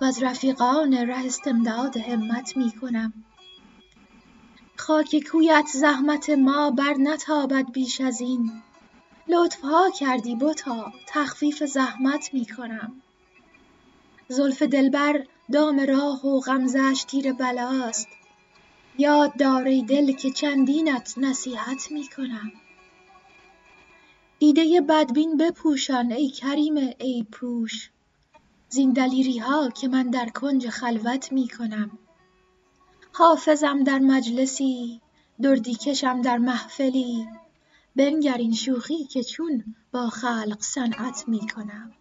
و از رفیقان ره استمداد همت می کنم خاک کویت زحمت ما برنتابد بیش از این لطف ها کردی بتا تخفیف زحمت می کنم زلف دلبر دام راه و غمزه اش تیر بلاست یاد دار ای دل که چندینت نصیحت می کنم دیده بدبین بپوشان ای کریم عیب پوش زین دلیری ها که من در کنج خلوت می کنم حافظم در مجلسی دردی کشم در محفلی بنگر این شوخی که چون با خلق صنعت می کنم